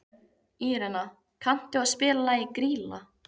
Írena, kanntu að spila lagið „Grýla“?